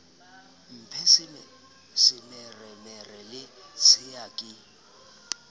mphe semeremere le tshea ke